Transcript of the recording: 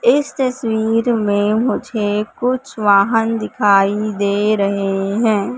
इस तस्वीर में मुझे कुछ वाहन दिखाई दे रहे हैं।